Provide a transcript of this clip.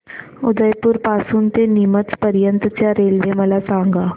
उदयपुर पासून ते नीमच पर्यंत च्या रेल्वे मला सांगा